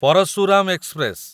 Parashuram express